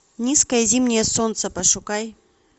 низкое зимнее солнце пошукай